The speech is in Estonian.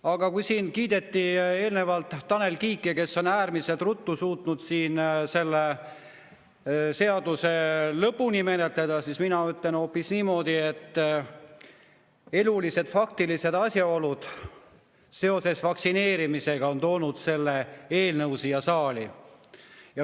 Aga kui siin eelnevalt kiideti Tanel Kiike, kes on äärmiselt ruttu suutnud selle seaduse lõpuni menetleda, siis mina ütlen hoopis niimoodi, et elulised faktilised asjaolud seoses vaktsineerimisega on toonud selle eelnõu siia saali.